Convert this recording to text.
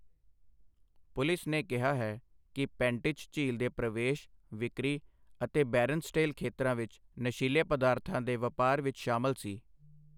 Police ਨੇ ਕਿਹਾ ਹੈ ਕਿ ਪੈਂਟਿਚ ਝੀਲ ਦੇ ਪ੍ਰਵੇਸ਼, ਵਿਕਰੀ ਅਤੇ ਬੈਰਨਸਡੇਲ ਖੇਤਰਾਂ ਵਿੱਚ ਨਸ਼ੀਲੇ ਪਦਾਰਥਾਂ ਦੇ ਵਪਾਰ ਵਿੱਚ ਸ਼ਾਮਲ ਸੀ।